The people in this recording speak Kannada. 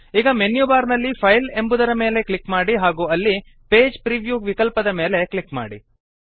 ಈಗ ಮೆನ್ಯುಬಾರ್ ನಲ್ಲಿ ಫೈಲ್ ಎಂಬುದರ ಮೇಲೆ ಕ್ಲಿಕ್ ಮಾಡಿ ಹಾಗೂ ಅಲ್ಲಿ ಪೇಜ್ ಪ್ರಿವ್ಯೂ ವಿಕಲ್ಪದ ಮೇಲೆ ಕ್ಲಿಕ್ ಮಾಡಿ